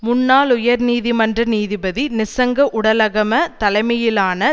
முன்னாள் உயர் நீதிமன்ற நீதிபதி நிஸ்ஸங்க உடலகம தலைமையிலான